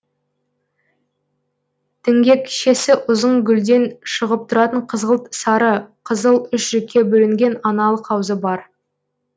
діңгекшесі ұзын гүлден шығып тұратын қызғылт сары қызыл үш жікке бөлінген аналық аузы бар